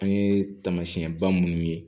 An ye taamasiyɛnba minnu ye